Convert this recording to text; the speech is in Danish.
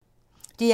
DR1